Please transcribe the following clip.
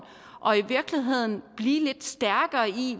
og i virkeligheden blive lidt stærkere i